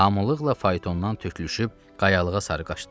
Hamılıqla faytondan tüklüşüb qayalığa sarı qaçdılar.